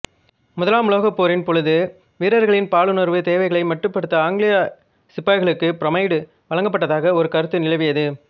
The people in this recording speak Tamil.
முதலாம் உலகப்போரின் பொழுது வீரர்களின் பாலுணர்வுத் தேவைகளை மட்டுப்படுத்த ஆங்கிலேய சிப்பாய்களுக்கு புரோமைடு வழங்கப்பட்டதாக ஒரு கருத்து நிலவியது